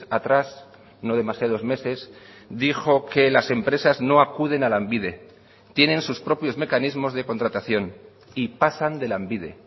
atrás no demasiados meses dijo que las empresas no acuden a lanbide tienen sus propios mecanismos de contratación y pasan de lanbide